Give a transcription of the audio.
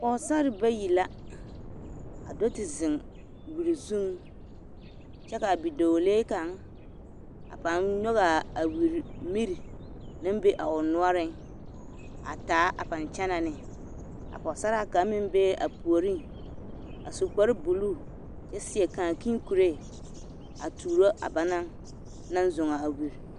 Pɔɔsare bayi la a do te zeŋ wiri zuŋ kyɛ ka bidɔɔlee kaŋ a paaŋ nyɔgaa a wiri miri naŋ be a o noɔreŋ a taa a paŋ kyɛnɛ ne a pɔɔsaraa kaŋ meŋ bee a puoreŋ a su kparrebuluu kyɛ seɛ kaakii koree a tuuro banaŋ naŋ zɔɔ a wiri.